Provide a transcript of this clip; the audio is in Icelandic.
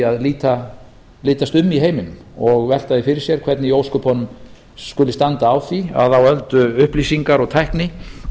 að litast um í heiminum og velta því fyrir sér hvernig í ósköpunum skuli standa á því að á öld upplýsingar og tækni